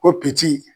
Ko